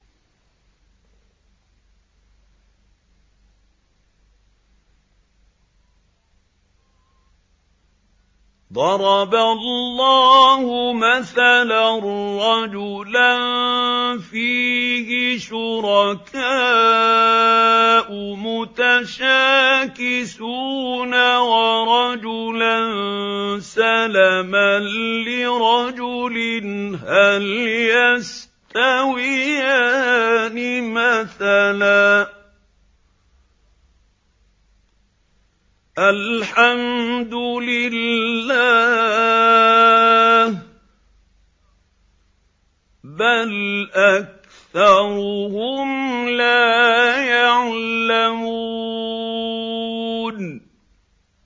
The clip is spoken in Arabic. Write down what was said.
ضَرَبَ اللَّهُ مَثَلًا رَّجُلًا فِيهِ شُرَكَاءُ مُتَشَاكِسُونَ وَرَجُلًا سَلَمًا لِّرَجُلٍ هَلْ يَسْتَوِيَانِ مَثَلًا ۚ الْحَمْدُ لِلَّهِ ۚ بَلْ أَكْثَرُهُمْ لَا يَعْلَمُونَ